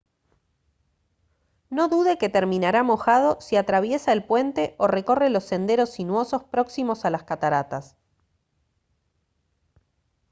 no dude que terminará mojado si atraviesa el puente o recorre los senderos sinuosos próximos a las cataratas